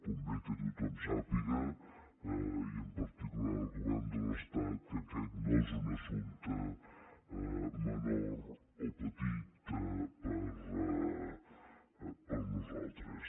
convé que tothom sàpiga i en particular el govern de l’estat que aquest no és un assumpte menor o petit per a nosaltres